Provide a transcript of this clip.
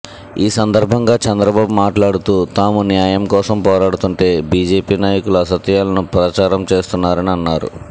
ఈసందర్భంగా చంద్రబాబు మాట్లాడుతూ తాము న్యాయం కోసం పోరాడుతుంటే బీజేపీ నాయకులు అసత్యాలను ప్రచారం చేస్తున్నారని అన్నారు